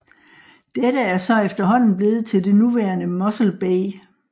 Dette er så efterhånden blevet til det nuværende Mossel Bay